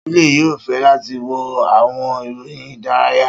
Sule yoo fẹ lati wo awọn iroyin idaraya.